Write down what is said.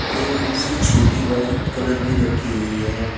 एक कुर्सी छोटी व्हाइट कलर की रखी हुई है।